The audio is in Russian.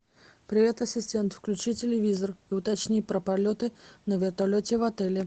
привет ассистент включи телевизор и уточни про полеты на вертолете в отеле